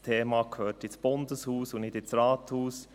Das Thema gehört ins Bundeshaus und nicht ins Rathaus.